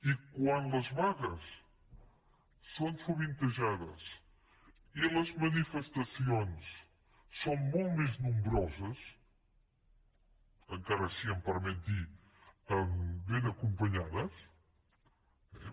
i quan les vagues són sovin tejades i les manifestacions són molt més nombroses encara si em permet dir ho ben acompanyades eh